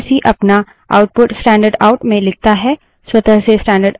स्वतः से डब्ल्यूसी अपना output standardout आउट stdout में लिखता है